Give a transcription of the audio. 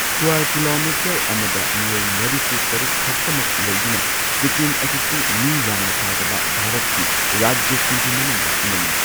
Square kilometre ꯑꯃꯗ ꯃꯤꯑꯣꯏ ꯃꯔꯤꯐꯨ ꯇꯔꯨꯛ ꯈꯛꯇꯃꯛ ꯂꯩꯗꯨꯅ ꯁꯤꯛꯀꯤꯝ ꯑꯁꯤꯁꯨ ꯃꯤ ꯌꯥꯝꯅ ꯇꯥꯗꯕ ꯚꯥꯔꯠꯀꯤ ꯔꯥꯖ꯭ꯌꯥꯁꯤꯡꯒꯤ ꯃꯅꯨꯡꯗ ꯑꯃꯅꯤ꯫